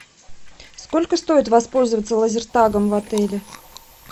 сколько стоит воспользоваться лазертагом в отеле